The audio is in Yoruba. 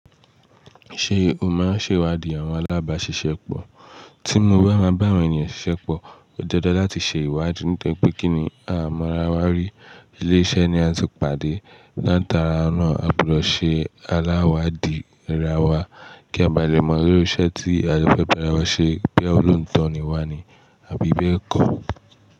Ṣé o máa ń ṣèwádìí àwọn alábàáṣiṣẹ́ pọ̀? Tí mo bá máa bá àwọn ènìyàn ṣiṣẹ́ pọ̀, ó di dándan láti ṣe ìwádìí nítorí pé kí ni a mọ ara wa rí? Ilé iṣẹ́ ni a ti pàdé. Látara náà, a gbọdọ̀ ṣe aláwádìí ara wa kí a ba lè mọ irú iṣẹ́ tí a lè fẹ́ bára wọn ṣe boya ó lóòótọ́ ni wá ni. A bi bẹ́ẹ̀ kọ́.